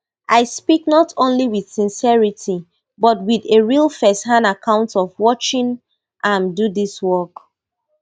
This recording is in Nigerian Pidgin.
i speak not only with sincerity but with a real firsthand account of watching am do dis work